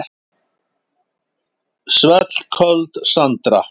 Svellköld Sandra.